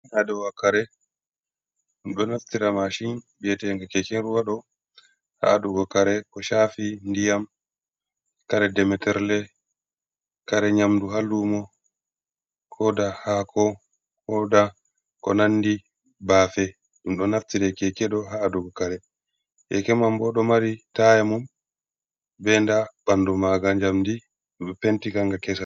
Hadowakare dumdo naftira mashin viyetede keke ruwado, ha adugo kare ko chafi ndiyam kare demeterle kare nyamdu ha lumo koda hako koda ko nandi bafe dum do naftira kekedo ha adugo kare yeke man bodo mari taya mum be nda bandu maga jamdi penti kanga kesa.